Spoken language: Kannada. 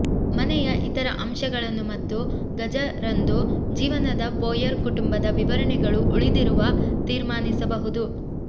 ಮನೆಯ ಇತರ ಅಂಶಗಳನ್ನು ಮತ್ತು ಗಜ ರಂದು ಜೀವನದ ಬೋಯರ್ ಕುಟುಂಬದ ವಿವರಣೆಗಳು ಉಳಿದಿರುವ ತೀರ್ಮಾನಿಸಬಹುದು